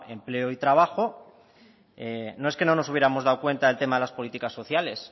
empleo y trabajo no es que no nos hubiéramos dado cuenta el tema de las políticas sociales